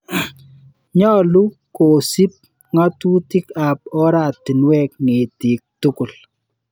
Nyalu kosup ng'atutik ap oratinwek ketiik tukul.